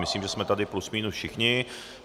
Myslím, že jsme tady plus minus všichni.